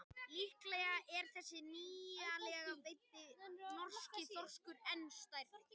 Líklega er þessi nýlega veiddi norski þorskur enn stærri.